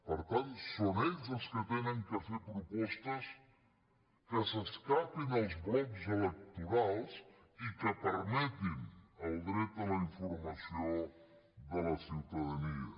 per tant són ells els que han de fer propostes que s’escapin dels blocs electorals i que permetin el dret a la informació de la ciutadania